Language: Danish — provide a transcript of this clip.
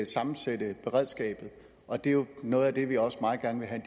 sammensætte beredskabet og det er jo noget af det vi også meget gerne vil have